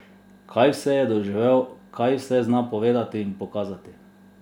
Kaj vse je doživel, kaj vse zna povedati in pokazati!